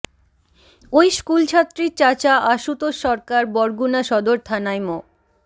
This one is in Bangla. ওই স্কুলছাত্রীর চাচা আশুতোষ সরকার বরগুনা সদর থানায় মো